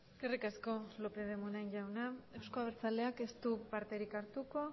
eskerrik asko lópez de munain jauna euzko abertzaleak ez du parterik hartuko